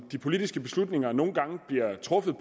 de politiske beslutninger nogle gange bliver truffet